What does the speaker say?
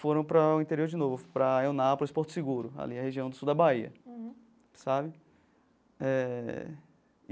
Foram para o interior de novo, para a Eunápolis, para o Porto Seguro, ali na região do sul da Bahia, sabe? Eh.